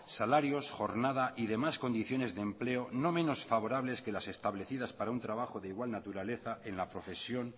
salarios jornada y demás condiciones de empleo no menos favorables que las establecidas para un trabajo de igual naturaleza en la profesión